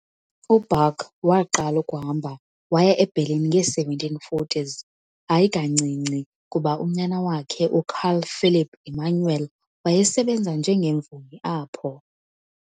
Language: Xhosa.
U-Bach waqala ukuhamba waya eBerlin nge-1740s, hayi kancinci kuba unyana wakhe, uCarl Philipp Emanuel, wayesebenza njengemvumi apho.